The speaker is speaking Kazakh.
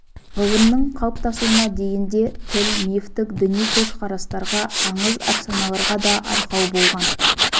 ғылымның қалыптасуына дейін де тіл мифтік діни көзқарастарға аңыз-әпсаналарға да арқау болған